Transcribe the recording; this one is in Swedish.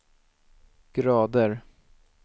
grader